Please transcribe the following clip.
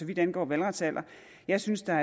vidt angår valgretsalder jeg synes der